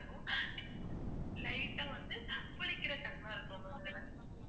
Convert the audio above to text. slight ஆ வந்து புளிக்குற தன்மை இருக்கும் ma'am இதுல